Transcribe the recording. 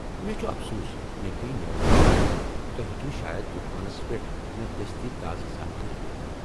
مےٚ چُھ افسوٗس ، مےٚ پییہِ نیرُن ، توہہِ ہیكِوٕ شاید طوفانس پیٹھ مے٘ دستی تازٕ زانكٲری دِتھ ؟